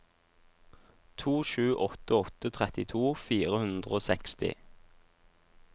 to sju åtte åtte trettito fire hundre og seksti